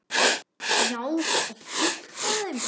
Já, og fullt af þeim.